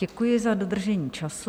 Děkuji za dodržení času.